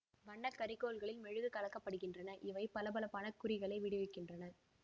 வண்ண கரிக்கோல்களில் மெழுகு கலக்கப்படுகின்றன இவை பளப்பளப்பான குறிகளை விடுவிக்கின்றன